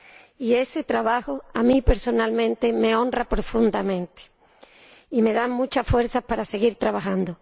Y ese trabajo, a mí personalmente, me honra profundamente y me da muchas fuerzas para seguir trabajando.